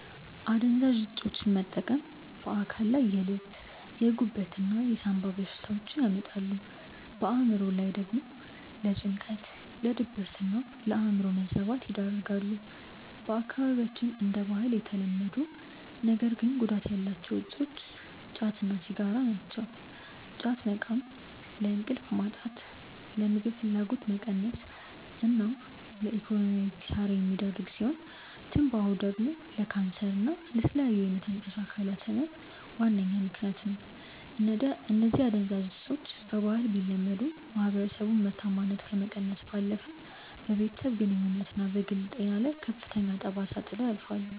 አደንዛዥ እፆችን መጠቀም በአካል ላይ የልብ፣ የጉበት እና የሳምባ በሽታዎችን ያመጣሉ፣ በአእምሮ ላይ ደግሞ ለጭንቀት፣ ለድብርትና የአእምሮ መዛባት ይዳርጋሉ። በአካባቢያችን እንደ ባህል የተለመዱ ነገር ግን ጉዳት ያላቸው እፆች ጫት እና ሲጋራ ናቸው። ጫት መቃም ለእንቅልፍ ማጣት፣ ለምግብ ፍላጎት መቀነስ እና ለኢኮኖሚያዊ ኪሳራ የሚዳርግ ሲሆን፤ ትንባሆ ደግሞ ለካንሰር እና ለተለያዩ የመተንፈሻ አካላት ህመም ዋነኛ ምከንያት ነው። እነዚህ አደንዛዥ እፆች በባህል ቢለመዱም፣ የማህበረሰቡን ምርታማነት ከመቀነስ ባለፈ በቤተሰብ ግንኙነትና በግል ጤና ላይ ከፍተኛ ጠባሳ ጥለው ያልፋሉ።